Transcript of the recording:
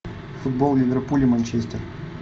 футбол ливерпуль и манчестер